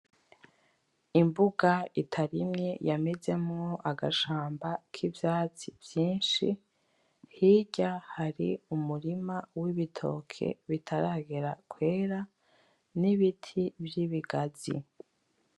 Imbuga itarimye yamezemwo agashamba kivyatsi vyinshi, hirya hari umurima w'ibitoke bitaragera kwera, n'ibiti vy'ibigazi.